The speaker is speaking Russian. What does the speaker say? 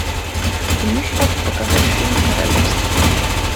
ты можешь показать фильм королевство